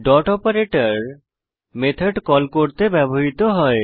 dot operator method call করতে ব্যবহৃত হয়